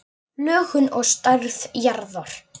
Lögun og stærð jarðar